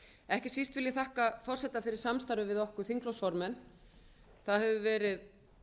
ekki síst vil ég þakka forseta fyrir samstarfið við okkur þingflokksformenn það hefur verið